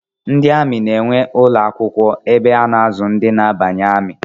Ndi amị na-enwe ụlọ akwụkwọ ebe a na-azụ ndị na-abanye amị